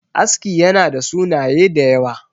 aski yana da sunaye da yawa